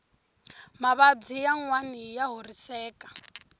mavabyi yanwani ya horiseka